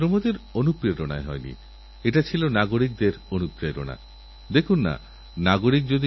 প্রযুক্তি একদিকে যেমন আর্থিক উন্নয়নে এক বড় ভূমিকানিয়েছে তেমনি অন্যদিকে তার অপব্যবহার করার লোকও মাঠে নেমে পড়েছে